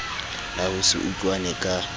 la ho se utlwane ka